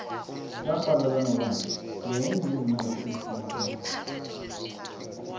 laxhwalala nobani nqenye yezincwadi eziphumaphambili